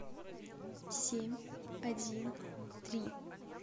семь один три